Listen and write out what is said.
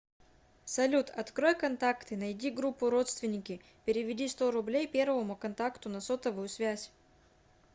салют открой контакты найди группу родственники переведи сто рублей первому контакту на сотовую связь